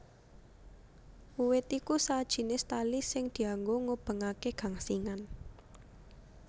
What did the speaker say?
Uwed iku sajinis tali sing dianggo ngubengaké gangsingan